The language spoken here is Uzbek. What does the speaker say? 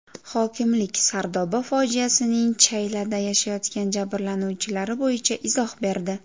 Hokimlik Sardoba fojiasining chaylada yashayotgan jabrlanuvchilari bo‘yicha izoh berdi.